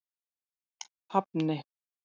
Hafni